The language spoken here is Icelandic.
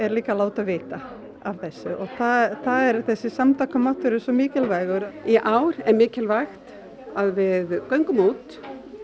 líka að láta vita af þessu og það er þessi samtaka máttur er svo mikilvægur í ár er mikilvægt að við göngum út